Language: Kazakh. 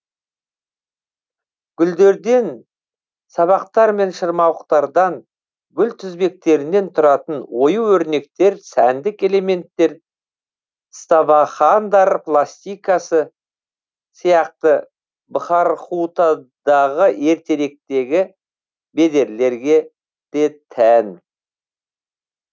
гүлдерден сабақтар мен шырмауықтардан гүл тізбектерінен тұратын ою өрнектер сәндік элементтер ставахандар пластикасы сияқты бхархутадағы ертеректегі бедерлерге де тән